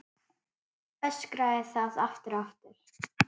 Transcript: Öskraði það aftur og aftur.